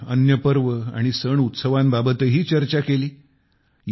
आपण अन्य पर्व आणि सण उत्सवांबाबतही चर्चा केली